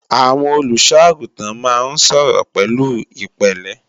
Àwọn olùṣọ́-àgùntàn máa ń sọ̀rọ̀ pẹ̀lú ìpẹ̀lẹ́